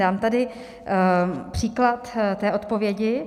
Dám tady příklad té odpovědi.